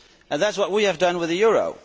That is what we have done with the euro.